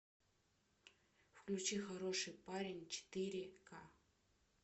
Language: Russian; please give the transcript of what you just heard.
включи хороший парень четыре ка